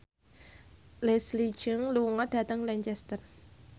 Leslie Cheung lunga dhateng Lancaster